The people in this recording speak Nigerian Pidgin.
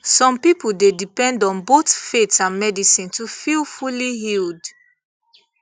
some people dey depend on both faith and medicine to feel fully healed